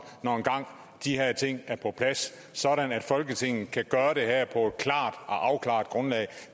når de her ting engang er på plads sådan at folketinget kan gøre det her på et klart og afklaret grundlag